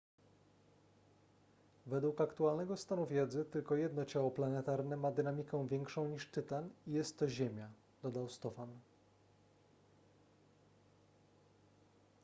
według aktualnego stanu wiedzy tylko jedno ciało planetarne ma dynamikę większą niż tytan i jest to ziemia dodał stofan